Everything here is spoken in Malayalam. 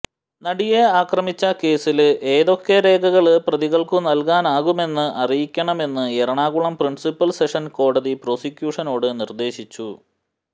നടിയെ ആക്രമിച്ച കേസില് ഏതൊക്കെ രേഖകള് പ്രതികള്ക്കു നല്കാനാകുമെന്ന് അറിയിക്കണമെന്ന് എറണാകുളം പ്രിന്സിപ്പല് സെഷന്സ് കോടതി പ്രോസിക്യൂഷനോട് നിര്ദേശിച്ചു